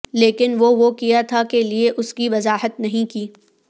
لیکن وہ وہ کیا تھا کے لئے اس کی وضاحت نہیں کی